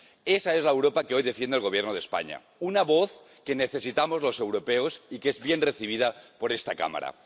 Esa es la Europa que hoy defiende el Gobierno de España, una voz que necesitamos los europeos y que es bien recibida por esta Cámara.